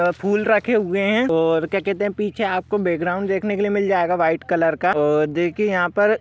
फूल रखे हुए है और क्या कहते है पीछे आपको बैकग्राउंड देखने को मिल जायेगा वाइट कलर का और देखिए यहाँ पर--